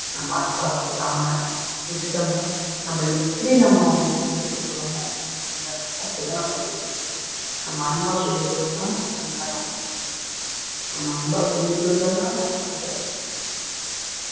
நம்ம அன்பா சொல்லாம விட்டுட்டோம்ன்னா நம்ம எப்படி நம்ம அவங்களுக்கு சொல்லிக் கொடுக்கிறோமோ அது மாதிரி அப்படித்தான் நம்ம பேச்சை கேப்பாங்க நம்ம அன்பா சொல்லிக் கொடுத்தோம்னா அன்பா நம்ம பேச்சை கேப்பாங்க நம்ப அன்பா சொல்லிக் கொடுக்கலைன்னா நம்ம பேச்சை அவங்க கேட்க மாட்டாங்க